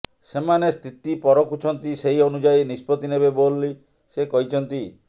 ସେମାନେ ସ୍ଥିତି ପରଖୁଛନ୍ତି ସେହି ଅନୁଯାୟୀ ନିଷ୍ପତ୍ତି ନେବେ ବୋଲ ସେ କହିଛନ୍ତି